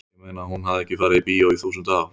ég meina hún hafði ekki farið í bíó í þúsund ár.